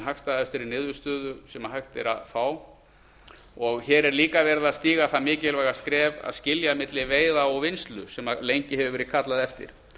hagstæðustu niðurstöðu sem hægt er að fá hér er líka stigið það mikilvæga skref að skilja milli veiða og vinnslu sem lengi hefur verið kallað eftir